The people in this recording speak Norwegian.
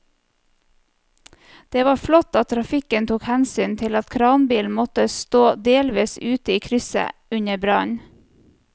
Det var flott at trafikken tok hensyn til at kranbilen måtte stå delvis ute i krysset under brannen.